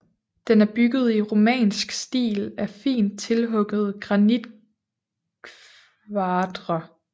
Den er bygget i romansk stil af fint tilhuggede granitkvadre